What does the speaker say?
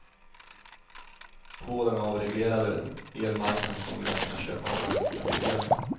På den avreglerade elmarknaden kommer vi att kunna köpa av den som är billigast.